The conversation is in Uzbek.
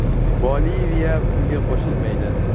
Boliviya bunga qo‘shilmaydi.